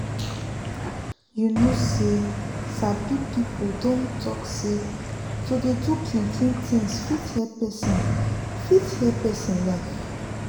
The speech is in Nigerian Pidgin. you know say sabi people dem talk say to dey do clean clean things fit help pesin fit help pesin life